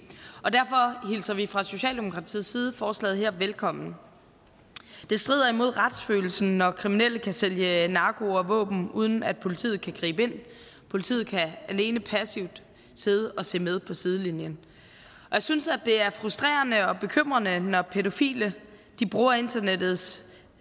og derfor hilser vi fra socialdemokratiets side forslaget her velkommen det strider imod retsfølelsen når kriminelle kan sælge narko og våben uden at politiet kan gribe ind politiet kan alene passivt sidde og se med fra sidelinjen jeg synes det er frustrerende og bekymrende når pædofile bruger internettets